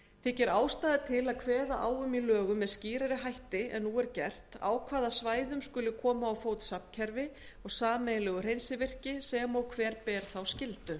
þykir ástæða til að kveða á um í lögum með skýrari hætti en nú er gert á hvaða svæðum skuli koma á fót safnkerfi og sameiginlegu hreinsivirki sem og hver ber þá skyldu